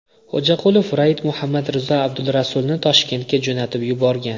Xo‘jaqulov Raid Muhammad Rizo Abdulrasulni Toshkentga jo‘natib yuborgan.